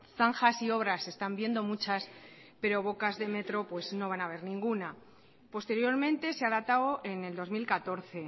zanjas y obras están viendo muchas pero bocas de metro no van a ver ninguna posteriormente se ha datado en el dos mil catorce